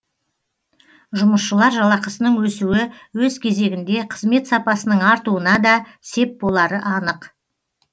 жұмысшылар жалақысының өсуі өз кезегінде қызмет сапасының артуына да сеп болары анық